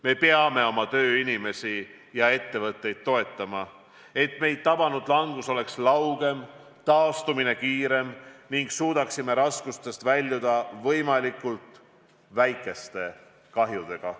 Me peame oma tööinimesi ja ettevõtteid toetama, et meid tabanud langus oleks laugem ja taastumine kiirem ning et suudaksime raskustest väljuda võimalikult väikeste kahjudega.